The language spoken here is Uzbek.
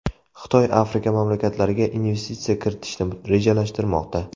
Xitoy Afrika mamlakatlariga investitsiya kiritishni rejalashtirmoqda.